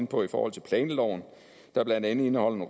på i forhold til planloven der blandt andet indeholder